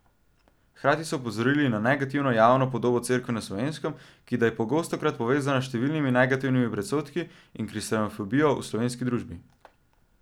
Hkrati so opozorili na negativno javno podobo Cerkve na Slovenskem, ki da je pogostokrat povezana s številnimi negativnimi predsodki in kristjanofobijo v slovenski družbi.